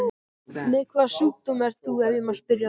Með hvaða sjúkdóm ert þú, ef ég má spyrja?